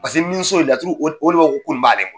niso laturu o de b'a fɔ ko nin b'ale bolo.